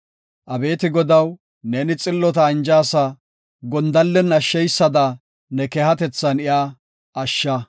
Abeeti Godaw, neeni xillota anjaasa; gondallen ashsheysada ne keehatethan iya ashsha.